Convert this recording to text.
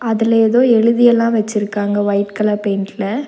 அதுல ஏதோ எழுதியெல்லா வெச்சிருக்காங்க ஒய்ட் கலர் பெயிண்ட்ல .